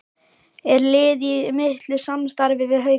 Er liðið í miklu samstarfi við Hauka?